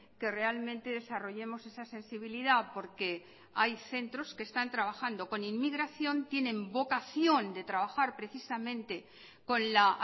que realmente desarrollemos esa sensibilidad porque hay centros que están trabajando con inmigración tienen vocación de trabajar precisamente con la